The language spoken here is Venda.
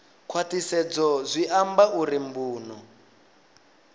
khwaṱhisedzo zwi amba uri mbuno